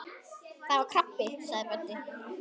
Það var krabbi sagði Böddi.